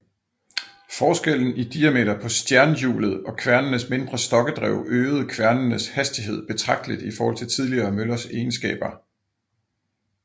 Forskellen i diameter på stjernhjulet og kværnenes mindre stokkedrev øgede kværnenes hastighed betragteligt i forhold til tidligere møllers egenskaber